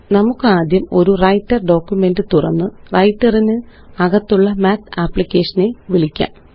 നമുക്കാദ്യം ഒരു writer document തുറന്ന്Writer ന് അകത്തുള്ള മാത്ത് അപ്ലിക്കേഷനെ വിളിക്കാം